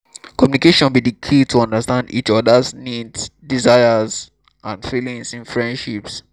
communication be di key to understand each oda's needs desires and feelings in friendships.